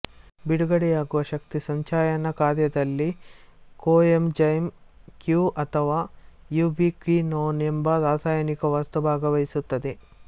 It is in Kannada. ಬಿಡುಗಡೆಯಾಗುವ ಶಕ್ತಿ ಸಂಚಯನಕಾರ್ಯದಲ್ಲಿ ಕೋಎಂಜೈಮ್ ಕ್ಯೂ ಅಥವಾ ಯೂಬಿಕ್ವಿನೋನ್ ಎಂಬ ರಾಸಾಯನಿಕ ವಸ್ತು ಭಾಗವಹಿಸುತ್ತದೆ